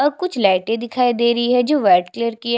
और कुछ लाइटे दिखाई दे रही है जो वाइट कलर की है।